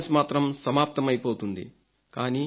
ordinance మాత్రం సమాప్తమైపోతుంది